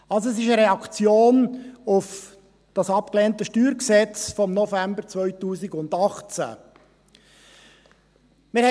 Also, es ist eine Reaktion auf das abgelehnte StG von November 2018.